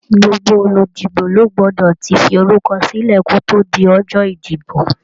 Gbogbo oludibo ló gbọ́dọ̀ tí forúkọ silẹ kò tó di ọjọ́ ìdìbò.